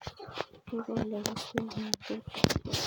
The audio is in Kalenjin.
Kikole keswek eng ' tuta